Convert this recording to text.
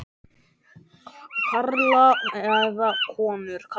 Karla eða konur.